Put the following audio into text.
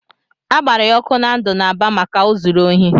A gbara ya ọkụ na ndụ n'Aba maka o zuru ohi.